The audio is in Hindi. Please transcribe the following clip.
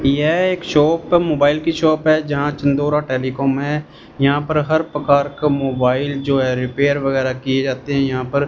यह एक शॉप है मोबाइल की शॉप है जहां चंदोरा टेलिकॉम है यहां पर हर प्रकार का मोबाइल जो है रिपेयर वगैरह किए जाते हैं यहां पर--